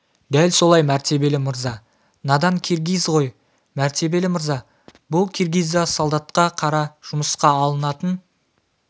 дәл солай мәртебелі мырза надан киргиз ғой мәртебелі мырза бұл киргиз да солдатқа қара жұмысқа алынатын